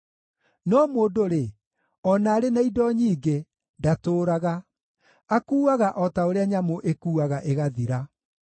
No mũndũ-rĩ, o na arĩ na indo nyingĩ, ndatũũraga; akuuaga o ta ũrĩa nyamũ ĩkuuaga ĩgathira.